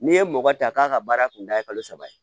N'i ye mɔgɔ ta k'a ka baara kun da ye kalo saba ye